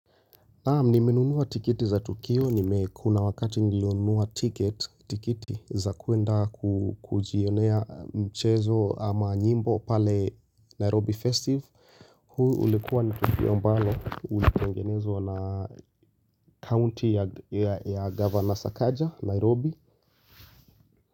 Naam nimenunua tiketi za Tukio nime kuna wakati nilionunua ticket, tiketi za kuenda kujionea mchezo ama nyimbo pale Nairobi Festive huu ulikuwa ni tukio ambalo ulitengenezwa na county ya governor Sakaja Nairobi.